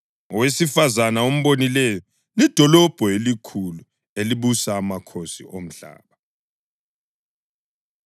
Owesifazane ombonileyo lidolobho elikhulu elibusa amakhosi omhlaba.”